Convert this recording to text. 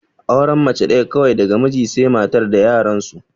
Auren mace ɗaya kawai daga mijin sai matar da yaran su